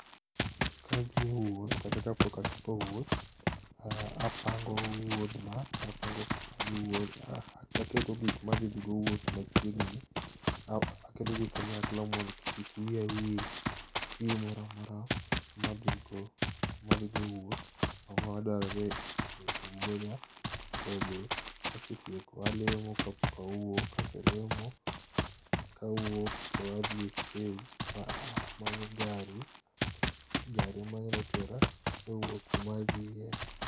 Kadhi e wuoth kata ka pok a chako wouth apango wuoth na, aketo gik ma adhidhi go wuoth machiegni aketo gi kanyakla mondo kik wiya wil gi gimoro a mora ma adhi go e wuoth ango ma dwarore e wuodha to be kasetieko alemo ka pok a wuok kaselemo to awuok adhi e stage to amanyo gari, gari ma nyalo tera e wuoth kama adhie.